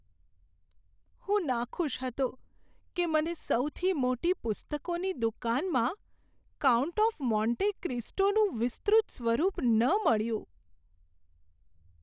હું નાખુશ હતો કે મને સૌથી મોટી પુસ્તકોની દુકાનમાં "કાઉન્ટ ઓફ મોન્ટે ક્રિસ્ટો"નું વિસ્તૃત સ્વરૂપ ન મળ્યું.